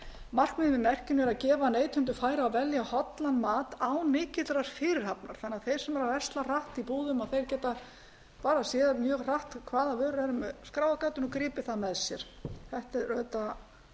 markmiðið með merkinu er að gefa neytendum færi á að velja hollan mat án mikillar fyrirhafnar þannig að þeir sem versla hratt í búðum geta séð mjög hratt hvaða vörur eru með skráargatinu og gripið það með sér þetta er auðvitað